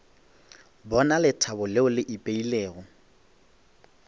bona lethabo leo le ipeilego